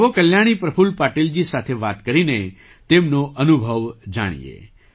આવો કલ્યાણી પ્રફુલ્લ પાટીલજી સાથે વાત કરીને તેમનો અનુભવ જાણીએ